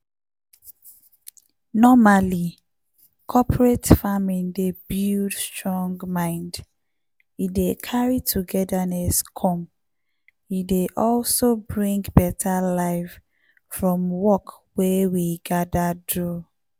normally cooperate farming dey buld strong mind e dey carry togetherness come e dey also bring better life from work wey we gather do